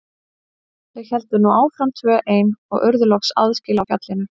Þau héldu nú áfram tvö ein og urðu loks aðskila á fjallinu.